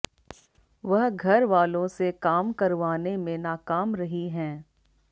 वह घरवालों से काम करवाने में नाकाम रही हैं